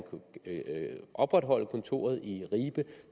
opretholde kontoret i ribe